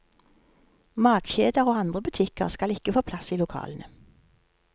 Matkjeder og andre butikker skal ikke få plass i lokalene.